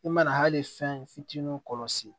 I mana hali fɛn fitinin kɔlɔsi